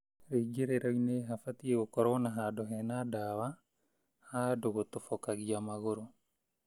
Rĩingĩrĩro-inĩ habatiĩ gũkorwo na handũ hena ndawa ha andũ gũtobokagia magũrũ.